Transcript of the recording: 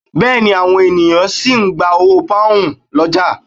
Bẹ́ẹ̀ ni, àwọn ènìyàn sì ń gba owó Pọ́nhùn lọ́jà